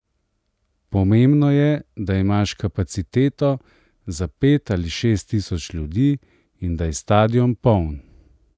Pomembno je, da imaš kapaciteto za pet ali šest tisoč ljudi in da je stadion poln.